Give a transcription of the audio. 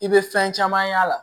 I bɛ fɛn caman y'a la